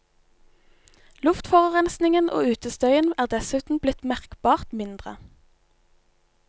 Luftforurensningen og utestøyen er dessuten blitt merkbart mindre.